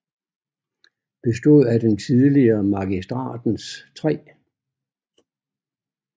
Bestod af den tidligere Magistratens 3